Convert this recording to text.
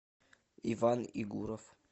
иван игуров